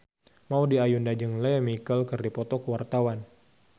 Maudy Ayunda jeung Lea Michele keur dipoto ku wartawan